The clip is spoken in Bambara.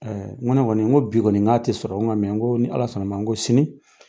N Ko ne kɔni nin, n ko bi kɔni, n k'a tɛ sɔrɔ, n ko nka ni Ala sɔnna ma n ko sini.